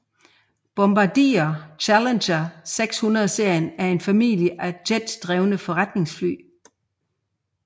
Bombardier Challenger 600 serien er en familie af jetdrevne forretningsfly